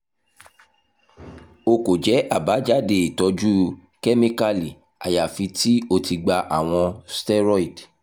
o ko jẹ abajade itọju kemikali ayafi ti o ti gba awọn steroid